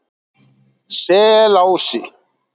Selási